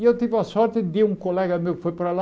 E eu tive a sorte de um colega meu que foi para lá,